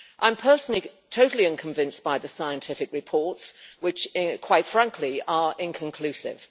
I'm personally totally unconvinced by the scientific reports which, quite frankly, are inconclusive.